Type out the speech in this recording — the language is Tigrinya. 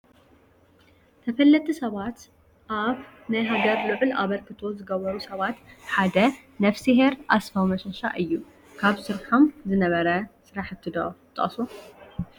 ተፈለጥቲ ሰባት፡- ኣብ ኣብ ናይ ሃገር ልዑል ኣበርክቶ ዝገበሩ ሰባት ሓደ ነፍስሄር ኣስፋው መሸቫ እዩ፡፡ ካብ ዝሰርሖም ዝነበረ ስራሕቲ ዶ ትጠቕሱ?